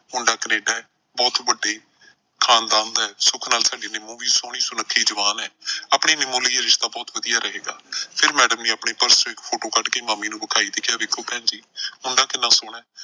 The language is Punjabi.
ਮੁੰਡਾ ਕਨੈਡਾ ਬਹੁਤ ਵੱਡੇ ਖਾਨਦਾਨ ਦਾ ਐ ਸੁੱਖ ਨਾਲ ਸਾਡੀ ਨਿੰਮੋ ਵੀ ਸੋਹਣੀ ਸੁਨੱਖੀ ਜਵਾਨ ਐ। ਆਪਣੀ ਨਿੰਮੋ ਲਈ ਇਹ ਰਿਸ਼ਤਾ ਬਹੁਤ ਵਧੀਆ ਰਹੇਗਾ। ਫਿਰ ਮੈਡਮ ਨੇ ਆਪਣੇ ਪਰਸ ਚੋਂ ਇੱਕ ਫੋਟੋ ਕੱਢ ਕੇ ਮਾਮੀ ਨੂੰ ਦਿਖਾਈ ਕਿ ਆਹ ਦੇਖੋ ਭੈਣ ਜੀ ਮੁੰਡਾ ਕਿੰਨਾ ਸੋਹਣਾ ਐ।